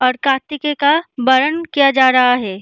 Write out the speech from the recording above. और कार्तिके का वर्णन किया जा रहा है।